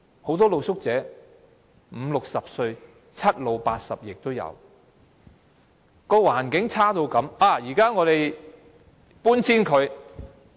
很多露宿者五六十歲，七老八十亦都有，居住環境差到這個地步。